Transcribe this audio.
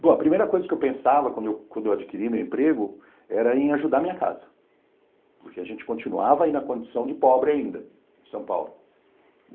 Bom, a primeira coisa que eu pensava quando eu quando eu adquiri meu emprego era em ajudar minha casa, porque a gente continuava aí na condição de pobre ainda, em São Paulo.